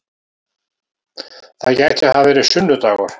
Það gæti hafa verið sunnu-dagur.